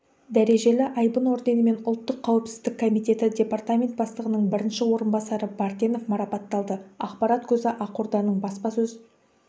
дәрежелі айбын орденімен ұлттық қауіпсіздік комитеті департамент бастығының бірінші орынбасары бартенов марапатталды ақпарат көзі ақорданың баспасөз